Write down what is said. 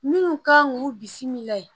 Minnu kan k'u bisimila yen